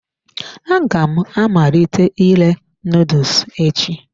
Aga m amalite ire noodles echi.